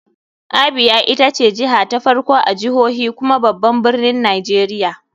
Abia ita ce jiha ta farko a jihohi kuma babban birnin nigeria.